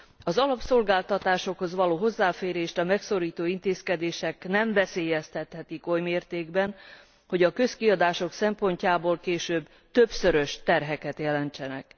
Az alapszolgáltatásokhoz való hozzáférést a megszorító intézkedések nem veszélyeztethetik oly mértékben, hogy a közkiadások szempontjából később többszörös terheket jelentsenek.